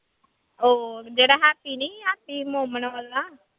ਉਹ ਜਿਹੜਾ ਹੈਪੀ ਨੀ ਹੈ ਹੈਪੀ ਵਾਲਾ।